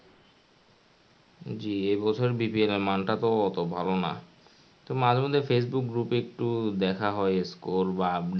জী এবছর BPL এর মান টা তো ওতো ভালো না. তবে মাঝে মধ্যে facebook group এ একটু দেখা হয় score বা update এরকম আর কি